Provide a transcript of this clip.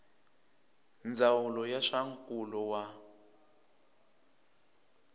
ndzawulo ya swa nkulo wa